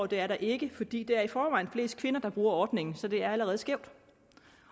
det er der ikke fordi der i forvejen er flest kvinder der bruger ordningen så det er allerede skævt